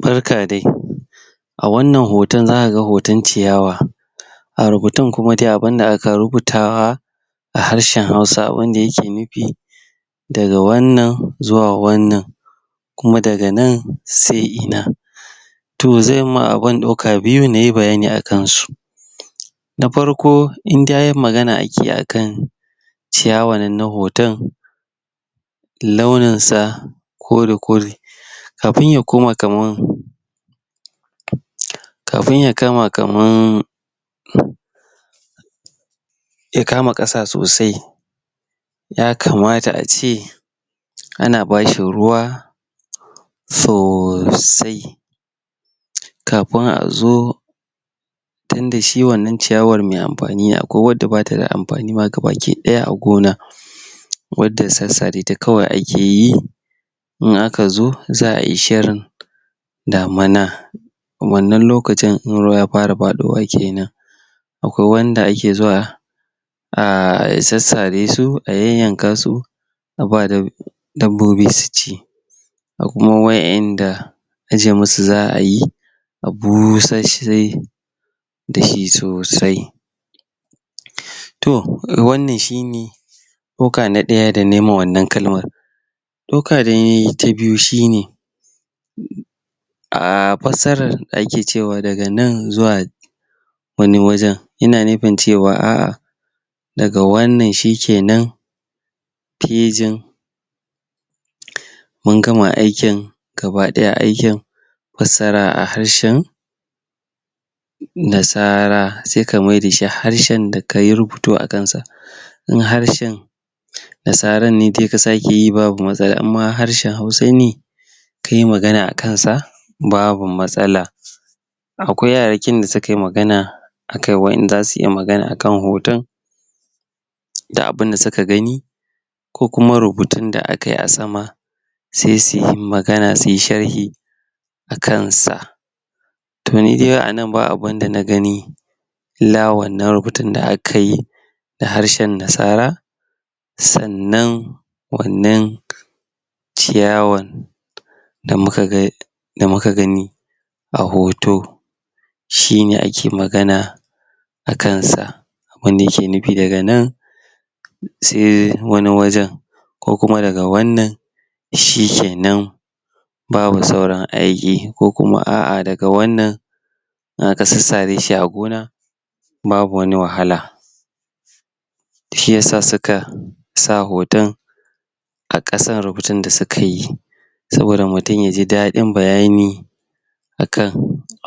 barka dai a wannan hoton zakaga hoton ciyawa a rubutun kuma dai abun da aka rubutawa a harshen hausa abun da yake nufi daga wannan zuwa wannan kuma daga nan se ina to zanyi ma abin ɗauka biyu inyi bayani akan su na farko in har magana ake akan ciyawan nan na hoton launin sa kore kore kafin ya koma kaman kafin ya kama kaman ya kama ƙasa sosai ya kamata ace ana bashi ruwa sosai kafin azo tinda shi wannan ciya war me amfani akwai wadda bata da amfani ma gabaki ɗaya a gona wadda sassare ta kawai ake yi in aka zo za'ai shirin damana a wannan lokacin in ruwa ya fara faɗowa kenan akwai wanda ake zuwa a sassare su a yayyanka su aba dabbobi su ci akwai kuma waƴanda aje musu za'a yi a busashshe da shi sosai to wannan shine ɗauka na ɗaya da nayima wannan kalmar dauka danayi ta biyu shine a fassarar da ake cewa daga nan zuwa wani wajen ina nufin cewa a'ah daga wannan shike nan fejin mun gama aikin gaba ɗaya aikin fassara a harshen nasara se ka maida shi harshen da kayi rubutu a kansa in harshen nasaran ne dai ka sake yi ba matsala inma harshen hausa ne kai magana akan sa babu matsala akwai yarakin da sukai magana akan wai in zasu iya magana akakn hoton da abun da suka gani ko kuma rubutun da akai a sama se suyi magana suyi sharhi akan sa to ni dai anan ba abun da na gani illa wannan rubutun da aka yi da harshe nasara sannan wannan ciyawar da muka ga da muka gani a hoto shine ake magana a kansa wanda yake nufi daga nan se wani wajen ko kuma daga wannan shike nan babu sauran aiki ko kuma a'ah daga wannan in aka sassareshi a gona babu wani wahala shiyasa suka sa hoton a ƙasan rubutun da suka yi saboda mutum yaji daɗin bayani akan